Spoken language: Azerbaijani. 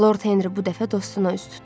Lord Henri bu dəfə dostuna üz tutdu.